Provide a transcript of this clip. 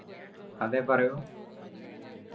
അതെ പറയു